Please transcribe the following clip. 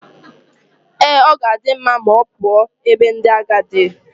Ee, ọ ga-adị mma ma ọ pụọ n'ebe ndị agadi.